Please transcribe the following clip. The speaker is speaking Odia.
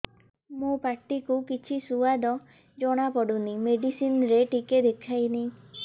ମୋ ପାଟି କୁ କିଛି ସୁଆଦ ଜଣାପଡ଼ୁନି ମେଡିସିନ ରେ ଟିକେ ଦେଖେଇମି